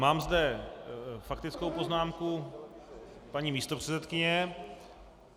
Mám zde faktickou poznámku paní místopředsedkyně.